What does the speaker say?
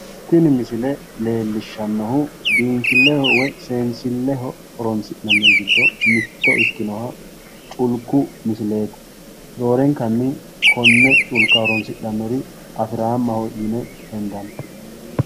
Tini misile leellishannohu biinfilleho woy seensilleho horo'sinanni giddonni mitto ikkinoha culku misileeti, roorenkannoi konne culka horonsidhannori afiraammaho yine hendanni.